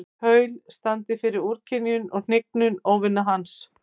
Paul standi fyrir úrkynjun og hnignun óvina hans.